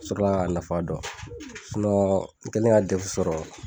N sɔrɔ la ka nafa dɔn n kelen ka D E F sɔrɔ